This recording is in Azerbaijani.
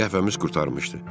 Qəhvəmiz qurtarmışdı.